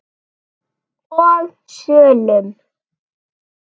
og sölum.